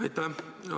Aitäh!